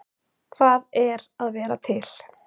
Hvað er að vera til?